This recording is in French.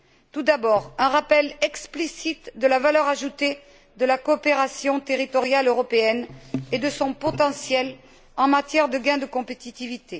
Tout d'abord un rappel explicite de la valeur ajoutée de la coopération territoriale européenne et de son potentiel en matière de gain de compétitivité.